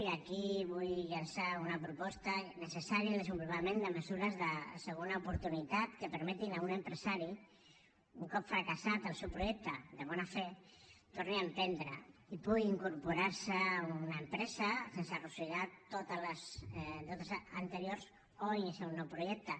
i aquí vull llançar una proposta necessària al desenvolupament de mesures de segona oportunitat que permetin a un empresari un cop fracassat el seu projecte de bona fe torni a emprendre i pugui incorporar se a una empresa sense arrossegar tots els deutes anteriors o iniciar un nou projecte